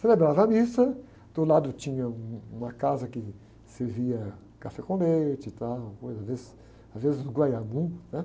Celebrava a missa, do lado tinha uma casa que servia café com leite e tal, coisa, às vezes, às vezes um, né?